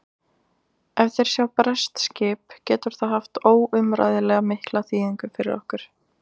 Ef þeir sjá breskt skip getur það haft óumræðilega mikla þýðingu fyrir okkur.